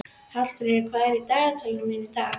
Hallfríður, hvað er í dagatalinu mínu í dag?